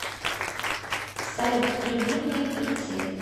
салют любимые певцы